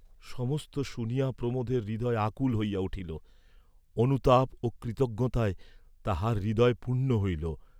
সমস্ত শুনিয়া প্রমোদের হৃদয় আকুল হইয়া উঠিল, অনুতাপ ও কৃতজ্ঞতায় তাঁহার হৃদয় পূর্ণ হইল।